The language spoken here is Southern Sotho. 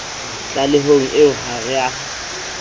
tlalehong eo ha re a